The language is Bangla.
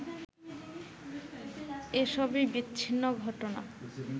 এসবই বিচ্ছিন্ন ঘটনা